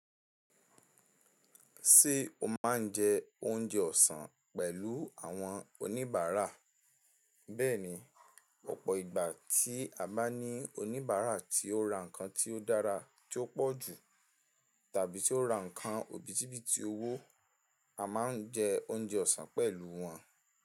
Ṣé o máa ń jẹ oúnjẹ ọ̀sán pẹ̀lú àwọn oníbàárà? Bẹ́ẹ̀ni, ọ̀pọ̀ ìgbà tí a bá ní oníbàárà tí ó ra nǹkan tí ó dára tí ó pọ̀jù tàbí tí ó ra nǹkan òbítíbitì owó, a máa ń jẹ oúnjẹ ọ̀sán pẹ̀lú wọn.